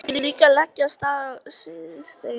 Hún ætlaði líka að leggja af stað síðdegis.